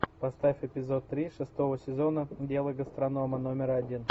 поставь эпизод три шестого сезона дело гастронома номер один